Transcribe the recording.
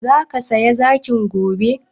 Zaka saya zakin gobe?